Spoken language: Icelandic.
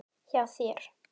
Hjá þér?